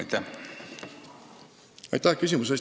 Aitäh küsimuse eest!